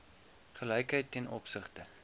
gelykheid ten opsigte